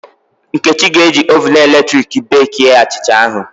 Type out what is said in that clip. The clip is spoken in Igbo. Nkechi ga-eji oven eletrik beekie achịcha ahụ